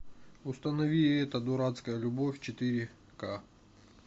установи эта дурацкая любовь четыре ка